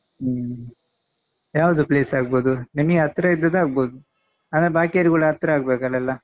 ಹ್ಮ್ ಯಾವುದು place ಆಗ್ಬೋದು ನಿನಗೆ ಹತ್ರ ಇದ್ದದ್ದು ಆಗ್ಬೋದು ಆದ್ರೆ ಬಾಕಿಯವರಿಗೆ ಕೂಡ ಹತ್ರ ಆಗ್ಬೇಕಲ್ಲ ಎಲ್ಲಾ.